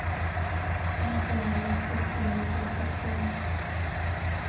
Vi må forholde oss til store kjeder, sier han.